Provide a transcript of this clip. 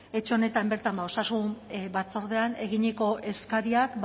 etxe honetan bertan osasun batzordean eginiko eskariak